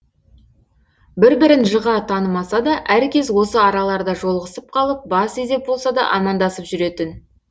бір бірін жыға танымаса да әркез осы араларда жолығысып қалып бас изеп болса да амандасып жүретін